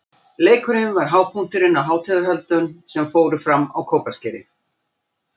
Leikurinn var hápunkturinn á hátíðarhöldum sem fram fóru á Kópaskeri.